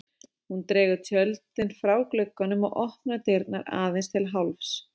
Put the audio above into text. Hún dregur tjöldin frá glugganum og opnar dyrnar aðeins til hálfs.